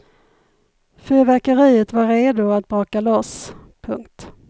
Fyrverkeriet var redo att braka loss. punkt